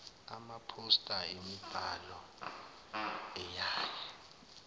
amaphosta yimibhalo eyaye